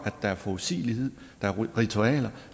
at der er forudsigelighed at der er ritualer at